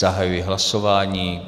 Zahajuji hlasování.